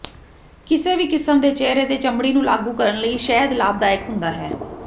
ਕਿਸੇ ਵੀ ਕਿਸਮ ਦੇ ਚਿਹਰੇ ਦੇ ਚਮੜੀ ਨੂੰ ਲਾਗੂ ਕਰਨ ਲਈ ਸ਼ਹਿਦ ਲਾਭਦਾਇਕ ਹੁੰਦਾ ਹੈ